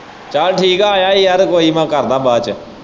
ਚੱਲ ਠੀਕ ਹੈ ਆਇਆ ਹੈ ਯਾਰ ਕੋਈ ਮੈਂ ਕਰਦਾ ਬਾਅਦ ਚ।